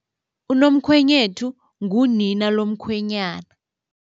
Unomkhwenyethu ngunina lomkhwenyana.